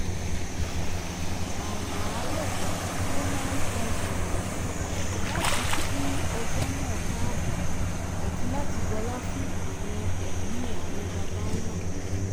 àràárọ̀ ló máa ń tan tùràrí láti kí ọjọ́ náà káàbọ̀ àti láti bọlá fún àwọn ẹ̀mí àwọn baba ńlá